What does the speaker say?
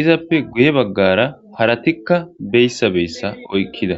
izappe guye baggara haratikka beyssa beyssa oykkida